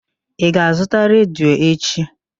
Ị ga-azụta redio echi?